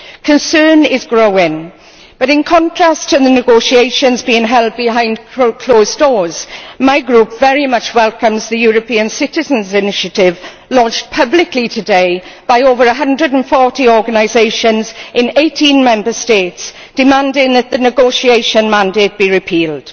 Concern is growing, but in contrast to the negotiations, which are being held behind closed doors, my group very much welcomes the European citizens' initiative launched publicly today by over 140 organisations in 18 Member States, which demands that the negotiation mandate be repealed.